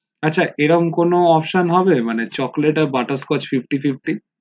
আচ্ছা এরকম কোনো option হবে chocolate আর butterscotch fifty fifty